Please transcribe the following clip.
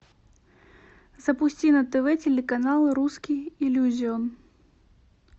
запусти на тв телеканал русский иллюзион